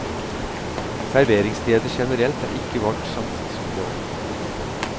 Serveringssteder generelt er ikke vårt satsingsområde.